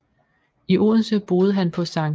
I Odense boede han på St